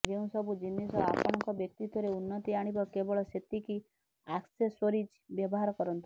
ଯେଉଁ ସବୁ ଜିନିଷ ଆପଣଙ୍କ ବ୍ୟକ୍ତିତ୍ବରେ ଉନ୍ନତି ଆଣିବ କେବଳ ସେତିକି ଆକ୍ସେସୋରିଜ୍ ବ୍ୟବହାର କରନ୍ତୁ